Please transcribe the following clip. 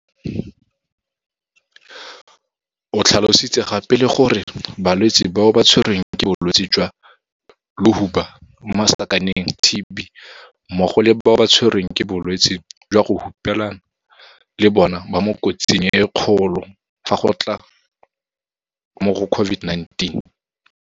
O tlhalositse gape le gore balwetse bao ba tshwerweng ke bolwetse jwa lohuba TB mmogo le bao ba tshwerweng ke bolwetse jwa go hupelana le bona ba mo kotsing e kgolo fa go tla mo go COVID-19.